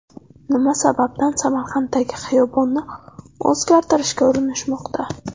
Nima sababdan Samarqanddagi xiyobonni o‘zgartirishga urinishmoqda.